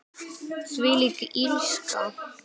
Þvílík illska.